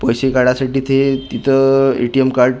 पैसे काढायसाठी ते तिथं ए_टी_एम कार्ड --